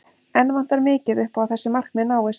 Enn vantar mikið upp á að þessi markmið náist.